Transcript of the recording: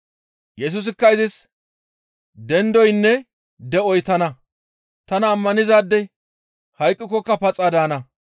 Yesusikka izis, «Dendoynne de7oy tana; tana ammanizaadey hayqqikokka paxa daana.